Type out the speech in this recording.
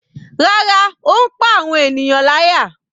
Rárá, ó ń pá àwọn ènìyàn láyà.